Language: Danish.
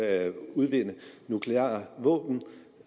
at udvikle nukleare våben og